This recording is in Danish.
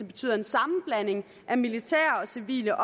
betyder en sammenblanding af militære og civile